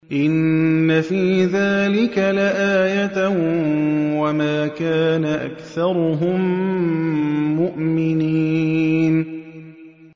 إِنَّ فِي ذَٰلِكَ لَآيَةً ۖ وَمَا كَانَ أَكْثَرُهُم مُّؤْمِنِينَ